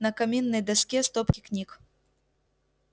на каминной доске стопки книг